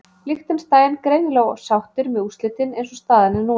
Liechtenstein greinilega sáttir með úrslitin eins og staðan er núna.